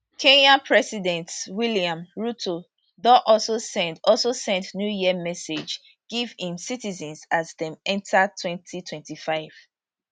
kenyan president william ruto don also send also send new year message give im citizens as dem enta 2025